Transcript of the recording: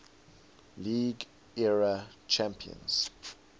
league era champions